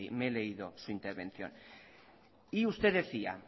me he leído su intervención y usted decía